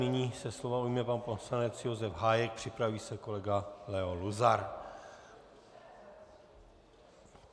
Nyní se slova ujme pan poslanec Josef Hájek, připraví se kolega Leo Luzar.